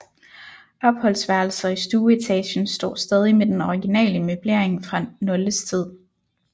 Opholdsværelser i stueetagen står stadig med den originale møblering fra Noldes tid